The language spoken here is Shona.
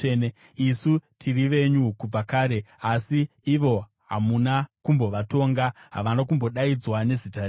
Isu tiri venyu kubva kare; asi ivo hamuna kumbovatonga, havana kumbodaidzwa nezita renyu.